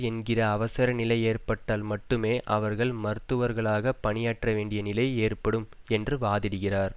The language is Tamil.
என்கிற அவசர நிலை ஏற்பட்டால் மட்டுமே அவர்கள் மருத்துவர்களாக பணியாற்ற வேண்டிய நிலை ஏற்படும் என்று வாதிடுகிறார்